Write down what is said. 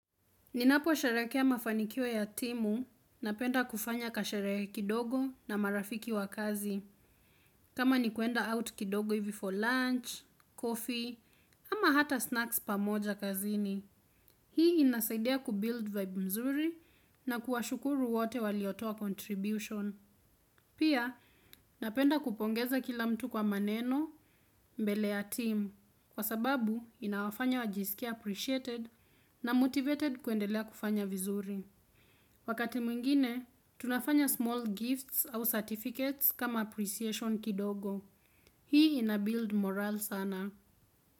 Ninaposherekea mafanikio ya timu napenda kufanya kasherehe kidogo na marafiki wa kazi. Kama ni kuenda out kidogo hivi for lunch, coffee, ama hata snacks pamoja kazini. Hii inasaidia kubuild vibe mzuri na kuwashukuru wote waliotoa contribution. Pia, napenda kupongeza kila mtu kwa maneno mbele ya timu. Kwa sababu, inawafanya wajiskie appreciated na motivated kuendelea kufanya vizuri. Wakati mwingine, tunafanya small gifts au certificates kama appreciation kidogo. Hii ina build morale sana.